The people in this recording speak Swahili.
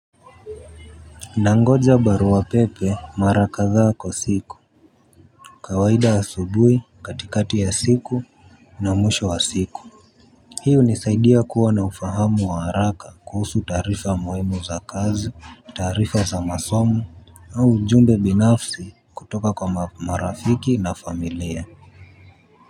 Nangoja barua pepe mara kadha kwa siku. Kawaida asubuhi, katikati ya siku na mwisho wa siku hii hunisaidia kuwa na ufahamu wa haraka kuhusu taarifa muhimu za kazi, taarifa za masomo au ujumbe binafsi kutoka kwa marafiki na familia.